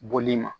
Boli ma